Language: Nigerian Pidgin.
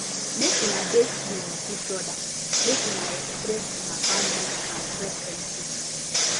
make una de free with each other mk una express una boundaries and preferences